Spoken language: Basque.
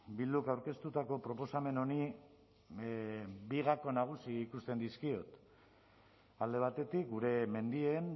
bilduk aurkeztutako proposamen honi bi gako nagusi ikusten dizkiot alde batetik gure mendien